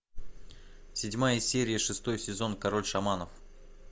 седьмая серия шестой сезон король шаманов